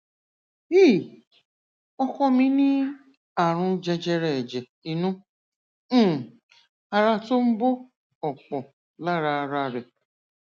hi ọkọ mi ní àrùn jẹjẹrẹ ẹjẹ inú um ara tó ń bo ọpọ lára ara rẹ